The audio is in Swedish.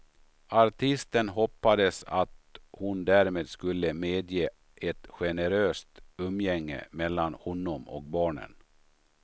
Artisten hoppades att hon därmed skulle medge ett generöst umgänge mellan honom och barnen.